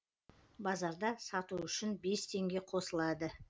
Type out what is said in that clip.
базарда сату үшін бес теңге қосылады